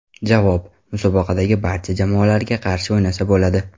Javob: Musobaqadagi barcha jamoalarga qarshi o‘ynasa bo‘ladi.